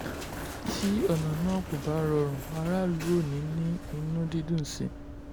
tí ọ̀nà náà kò bá rọrùn aráàlú ò ní ní inú dídùn sí i.